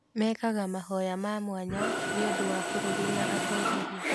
Mekaga mahoya ma mwanya nĩ ũndũ wa bũrũri na atongoria.